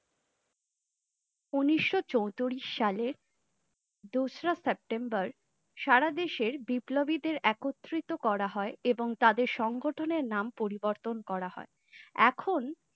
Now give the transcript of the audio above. উন্নিশো চোতিরিশ সালে দোসরা September সারা দেশের বিপ্লবীদের একত্রিত করা হয়ে এবং তাদের সংগঠনের নাম পরিবর্তন করা হয়ে ।